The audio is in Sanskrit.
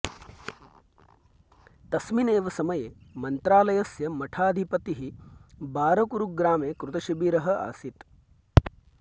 तस्मिन् एव समये मन्त्रालयस्य मठाधिपतिः बारकूरुग्रामे कृतशिबिरः आसीत्